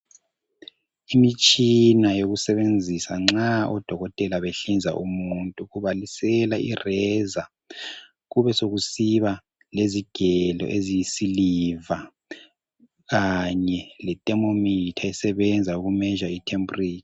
Imitshina yokusebenzisa nxa oDokotela behlinza umuntu ,kubalisela irazor kube sokusiba lezigelo eziyi siliva kanye letemomitha esebenza uku measure i tempera.